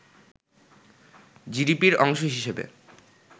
জিডিপির অংশ হিসেবে